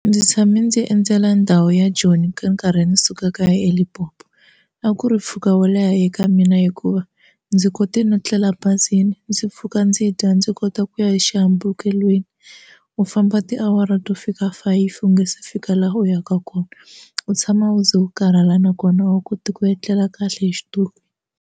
Ndzi tshame ndzi endzela ndhawu ya Joni ka nkarhi ndzi suka kaya eLimpopo a ku ri mpfhuka wo leha eka mina hikuva ndzi kote no tlela bazini ndzi pfuka ndzi dya ndzi kota hi ku ku ya exihambukelweni u famba tiawara to fika five u nga se fika laha u yaka kona u tshama u ze u karhala nakona a wu koti ku etlela kahle hi xitulu.